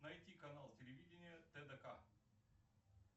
найти канал телевидения тдк